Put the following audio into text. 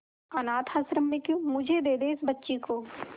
अनाथ आश्रम में क्यों मुझे दे दे इस बच्ची को